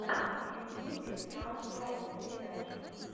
в ютюбе стар слайм передача